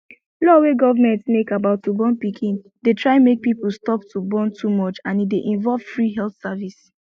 law wey government make about to born pikin dey try make people stop to born too much and e dey involve free health service